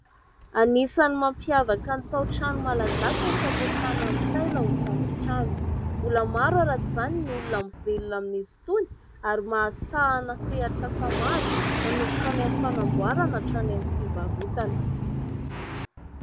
Anisany mampiavaka ny tao-trano malagasy ny fampiasana ny taila ho tafontrano. Mbola maro araka izany ny olona mivelona amin'izy itony ary mahasahana sehatr'asa maro manomboka any amin'ny fanamboarana hatrany amin'ny fivarotana.